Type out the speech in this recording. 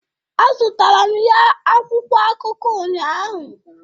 A zụtara m ya akwụkwọ akụko unyaahụ